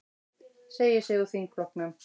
Segir sig úr þingflokknum